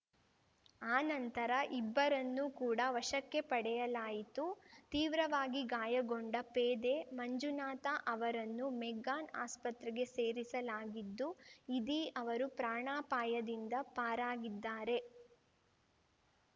ಆ ನಂತರ ಇಬ್ಬರನ್ನು ಕೂಡ ವಶಕ್ಕೆ ಪಡೆಯಲಾಯಿತು ತೀವ್ರವಾಗಿ ಗಾಯಗೊಂಡ ಪೇದೆ ಮಂಜುನಾಥ ಅವರನ್ನು ಮೆಗ್ಗಾನ್‌ ಆಸ್ಪತ್ರೆಗೆ ಸೇರಿಸಲಾಗಿದ್ದುಇದೀ ಅವರು ಪ್ರಾಣಾಪಾಯದಿಂದ ಪಾರಾಗಿದ್ದಾರೆ